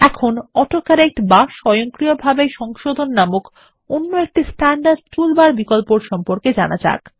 এখন autocorrect বা স্বয়ংক্রিয়ভাবে সংশোধন নামক অন্য একটি স্ট্যান্ডার্ড টুল বার এর বিকল্প সম্পর্কে জানা যাক